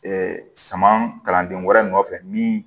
suman kalanden wɛrɛ nɔfɛ min